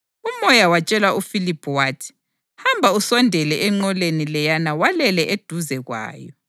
UMoya watshela uFiliphu wathi, “Hamba usondele enqoleni leyana walele eduze kwayo.”